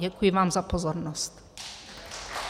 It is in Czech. Děkuji vám za pozornost.